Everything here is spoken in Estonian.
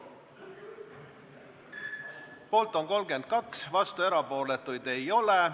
Hääletustulemused Poolt on 32, vastuolijaid ja erapooletuid ei ole.